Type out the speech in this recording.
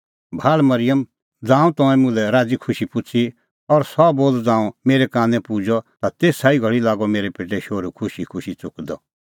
भाल़ मरिअम ज़ांऊं तंऐं मुल्है राज़ीखुशी पुछ़ी और सह बोल ज़ांऊं मेरै कानै पुजअ ता तेसा ई घल़ी लागअ मेरै पेटै शोहरू खुशीखुशी च़ुकदअ